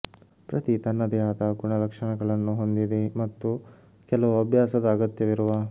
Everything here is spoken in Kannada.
ಪ್ರತಿ ತನ್ನದೇ ಆದ ಗುಣಲಕ್ಷಣಗಳನ್ನು ಹೊಂದಿದೆ ಮತ್ತು ಕೆಲವು ಅಭ್ಯಾಸದ ಅಗತ್ಯವಿರುವ